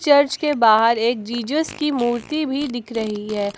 Church के बाहर एक जीजस की मूर्ति भी दिख रही है।